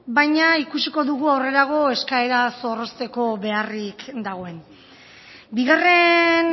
baina ikusiko dugu aurrerago eskaera zorrozteko beharrik dagoen bigarren